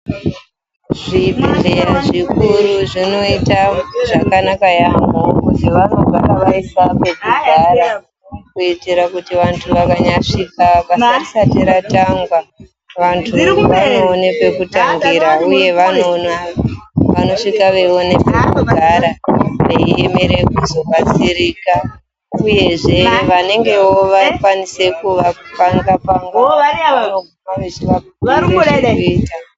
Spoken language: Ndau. Zvibhedhlera zvikuru zvinoita zvakanaka yaamho kuti vanogara vaisa pekugara kuti vantu vakanyasvika basa risati ratangwa vantu vanoone pekutangira, uye vanoone uye vanosvika veiona pekugara veiemere kuzobatsirika uyezve vanengewo vakwanisa kuvapanga panga vanopota vechivabhuyire zvekuita.